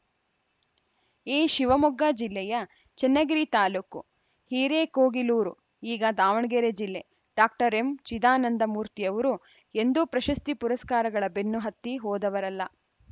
ಏ ಶಿವಮೊಗ್ಗ ಜಿಲ್ಲೆಯ ಚನ್ನಗಿರಿ ತಾಲೂಕು ಹಿರೇಕೋಗಿಲೂರು ಈಗ ದಾವಣಗೆರೆ ಜಿಲ್ಲೆ ಡಾಕ್ಟರ್ ಎಂ ಚಿದಾನಂದ ಮೂರ್ತಿಯವರು ಎಂದೂ ಪ್ರಶಸ್ತಿ ಪುರಸ್ಕಾರಗಳ ಬೆನ್ನು ಹತ್ತಿ ಹೋದವರಲ್ಲ